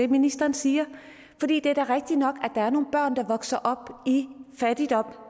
ministeren siger det er da rigtigt nok at der er nogle børn der vokser op i fattigdom